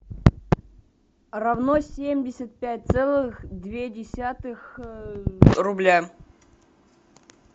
равно семьдесят пять целых две десятых рубля